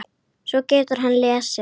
Svo getur hann lesið.